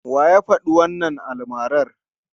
Wa ya faɗi wannan almarar?